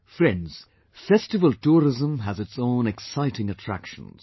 Friends, festival tourism has its own exciting attractions